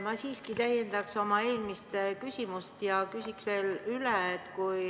Ma siiski täiendaks oma eelmist küsimust ja küsiksin veel üle.